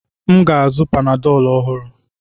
M ga-azụ panadọlu ọhụrụ.